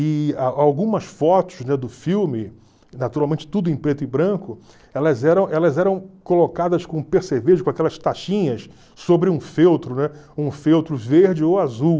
E algumas fotos do filme, naturalmente tudo em preto e branco, elas eram elas eram colocadas com percevejo, com aquelas tachinhas, sobre um feltro, né? Um feltro verde ou azul.